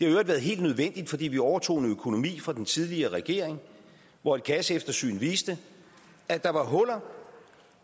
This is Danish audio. i øvrigt være helt nødvendigt fordi vi overtog en økonomi fra den tidligere regering hvor et kasseeftersyn viste at der var huller